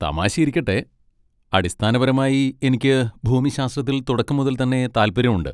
തമാശയിരിക്കട്ടെ, അടിസ്ഥാനപരമായി എനിക്ക് ഭൂമിശാസ്ത്രത്തിൽ തുടക്കം മുതൽ തന്നെ താൽപ്പര്യമുണ്ട്.